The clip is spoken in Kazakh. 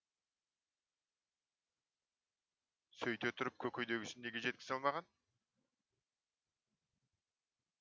сөйте тұрып көкейдегісін неге жеткізе алмаған